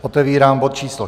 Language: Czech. Otevírám bod číslo